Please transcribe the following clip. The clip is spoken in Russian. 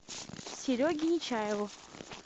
сереге нечаеву